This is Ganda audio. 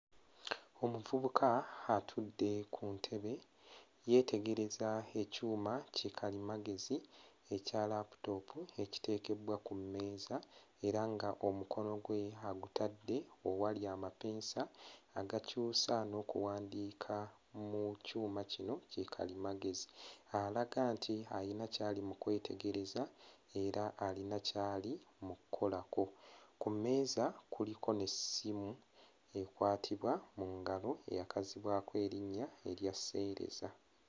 Omuvubuka atudde ku ntebe yeetegereza ekyuma kikalimagezi ekya laputoopu ekiteekebbwa ku mmeeza era nga omukono gwe agutadde owali amapeesa agakyusa n'okuwandiika mu kyuma kino kikalimagezi, alaga nti ayina ky'ali mu kwetegereza era alina ky'ali mu kkolako, ku mmeeza kuliko n'essimu ekwatibwa mu ngalo eyakazibwako erinnya erya seereza.